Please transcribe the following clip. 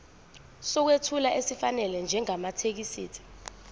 sokwethula esifanele njengamathekisthi